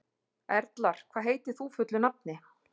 Erlar, hvað heitir þú fullu nafni?